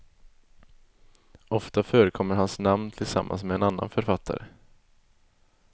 Ofta förekommer hans namn tillsammans med en annan författare.